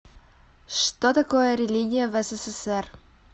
что такое религия в ссср